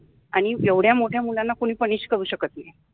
आणी एवढ्या मोठ्या मुलाना कोणि पनिश करु शकत नाहि.